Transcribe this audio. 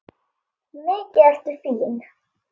Mikið ertu fín!